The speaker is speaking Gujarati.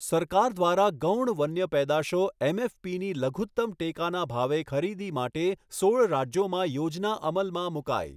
સરકાર દ્વારા ગૌણ વન્ય પેદાશો એમએફપીની લઘુતમ ટેકાના ભાવે ખરીદી માટે સોળ રાજ્યોમાં યોજના અમલમાં મુકાઈ.